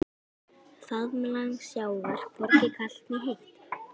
Faðmlag sjávar hvorki kalt né heitt.